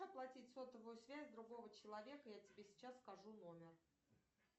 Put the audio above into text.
оплатить сотовую связь другого человека я тебе сейчас скажу номер